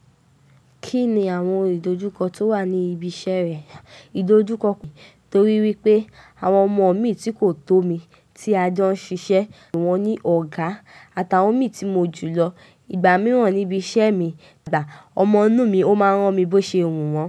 Kí ni àwọn ìdojúkọ tó wà ní ibi iṣẹ́ rẹ? Ìdojúkọ, torí wípé àwọn ọmọ mi tí kò tó mi tí a jọ ń ṣiṣẹ́, mo pé wọ́n ní ọ̀gá àtàwọn mi tí mo jù lọ. Ìgbà mìíràn níbi iṣẹ́ mi, ọmọ nù mi ó máa ń rán mi bó ṣe wù wọ́n.